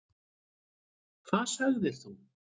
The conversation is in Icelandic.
Hvað sagðir þú?